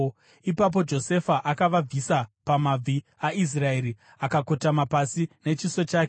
Ipapo Josefa akavabvisa pamabvi aIsraeri akakotama pasi nechiso chake.